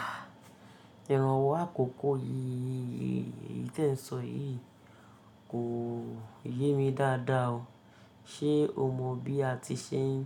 À, ìrànwọ́ àkókò yìí ii tí ẹ ń sọ yìí kò yé mi dáadáa o. Ṣé o mọ bí a ti ṣe n,